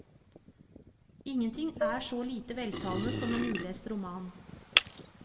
Ingenting er så lite veltalende som en ulest roman.